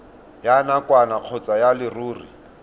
ya nakwana kgotsa ya leruri